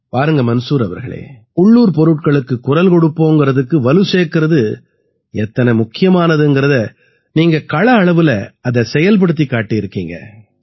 பாருங்க மன்சூர் அவர்களே உள்ளூர் பொருட்களுக்குக் குரல் கொடுப்போம்ங்கறதுக்கு வலு சேர்க்கறது எத்தனை முக்கியமானதுங்கறதை நீங்க கள அளவுல அதை செயல்படுத்திக் காட்டியிருக்கீங்க